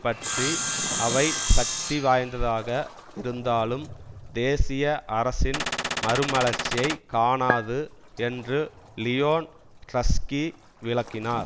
பற்றி அவை சக்தி வாய்ந்ததாக இருந்தாலும் தேசிய அரசின் மறுமலர்ச்சியை காணாது என்று லியோன் டிரஸ்கி விளக்கினார்